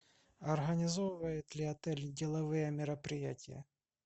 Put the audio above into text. организовывает ли отель деловые мероприятия